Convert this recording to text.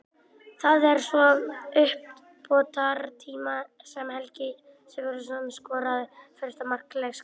Það var svo í uppbótartíma sem Helgi Sigurðsson skoraði fyrsta mark leiksins.